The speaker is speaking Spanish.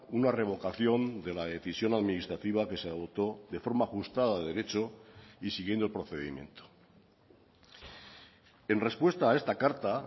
una revocación de la decisión administrativa que se adoptó de forma ajustada de derecho y siguiendo el procedimiento en respuesta a esta carta